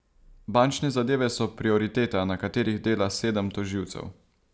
Bančne zadeve so prioriteta, na katerih dela sedem tožilcev.